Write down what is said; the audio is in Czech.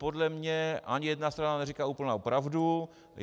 Podle mě ani jedna strana neříká úplnou pravdu.